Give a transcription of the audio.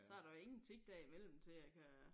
Så der jo ingen tid derimellem til at kan